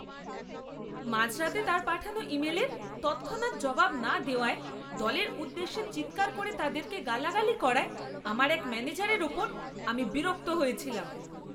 মাঝরাতে তার পাঠানো ইমেলের তৎক্ষণাৎ জবাব না দেওয়ায় দলের উদ্দেশ্যে চিৎকার করে তাদেরকে গালাগালি করায় আমার এক ম্যানেজারের ওপর আমি বিরক্ত হয়েছিলাম।